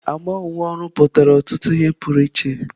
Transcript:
Agba uwe ọrụ pụtara ọtụtụ ihe pụrụ iche.